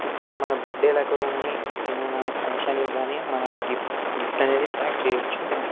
ఇక్కడ మన బర్త్డేలకు గాని ఏమైనా ఫంక్షన్లకు గాని మనం గిఫ్ గిఫ్ట్ అనేది ప్యాక్ చేయొచ్చు.